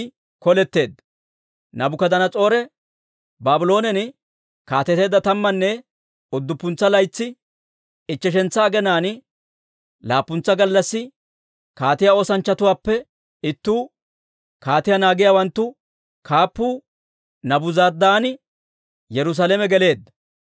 Naabukadanas'oore Baabloonen kaateteedda tammanne udduppuntsa laytsi, ichcheshantsa aginaan, laappuntsa gallassi kaatiyaa oosanchchatuwaappe ittuu, kaatiyaa naagiyaawanttu kaappuu Naabuzaradaani Yerusaalame geleedda.